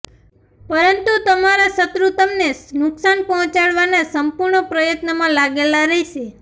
પરંતુ તમારા શત્રુ તમને નુકશાન પહોંચાડવાના સંપૂર્ણ પ્રયત્નમાં લાગેલા રહેશે